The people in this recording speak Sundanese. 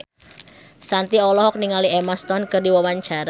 Shanti olohok ningali Emma Stone keur diwawancara